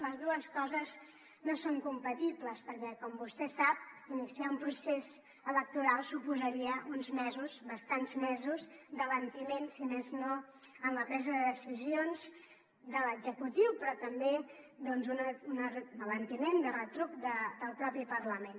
les dues coses no són compatibles perquè com vostè sap iniciar un procés electoral suposaria uns mesos bastants mesos d’alentiment si més no en la presa de decisions de l’executiu però també doncs un alentiment de retruc del propi parlament